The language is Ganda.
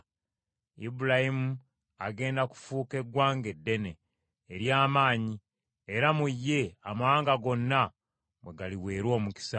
Ibulayimu agenda kufuuka eggwanga eddene, ery’amaanyi, era mu ye, amawanga gonna mwe galiweerwa omukisa.